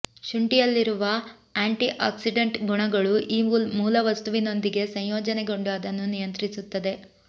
ಶುಂಠಿಯಲ್ಲಿರುವ antioxidant ಗುಣಗಳು ಈ ಮೂಲವಸ್ತುವಿನೊಂದಿಗೆ ಸಂಯೋಜನೆಗೊಂಡು ಅದನ್ನು ನಿಯಂತ್ರಿಸುತ್ತದೆ